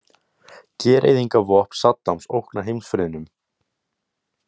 Gereyðingarvopn Saddams ógna heimsfriðnum.